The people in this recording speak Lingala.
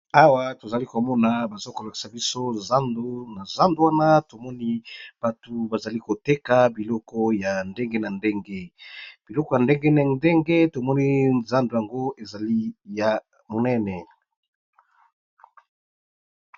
awa tozali komona bazokolakisa biso na zando wana tomoni bato bazali koteka biloko ya ndenge na ndenge biloko ya ndenge na ndenge tomoni zando yango ezali ya monene